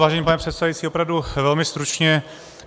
Vážený pane předsedající, opravdu velmi stručně.